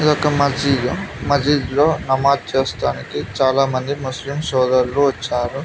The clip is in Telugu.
ఇది ఒక మసీదు మసీదులో నమాజ్ చేస్తారు చాలామంది ముస్లిం సోదరులు వచ్చారు.